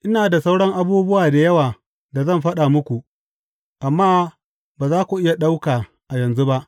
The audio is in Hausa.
Ina da sauran abubuwa da yawa da zan faɗa muku, amma ba za ku iya ɗauka a yanzu ba.